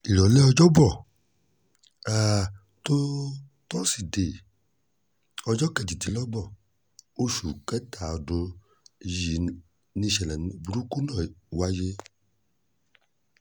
ìrọ̀lẹ́ ọjọ́bọ́ um totọ́sídẹ̀ẹ́ ọjọ́ kejìdínlọ́gbọ̀n oṣù kẹta ọdún um yìí nìṣẹ̀lẹ̀ burúkú náà wáyé